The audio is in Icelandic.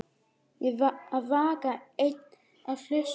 Að vaka einn og hlusta